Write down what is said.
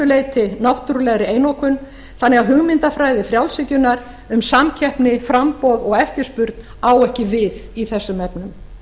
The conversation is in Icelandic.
leyti náttúrufræðilegri einokun þannig að hugmyndafræði frjálshyggjunnar um samkeppni framboð og eftirspurn á ekki við í þessum efnum